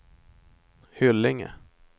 Hyllinge